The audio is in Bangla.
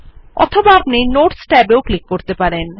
অথবা আপনি নোটস ট্যাব এও ক্লিক করতে পারেন